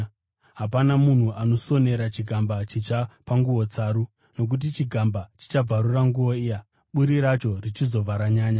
“Hapana munhu anosonera chigamba chitsva panguo tsaru, nokuti chigamba chichabvarura nguo iya, buri racho richizobva ranyanya.